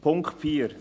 Punkt 4